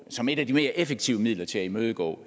som et af de mere effektive midler til at imødegå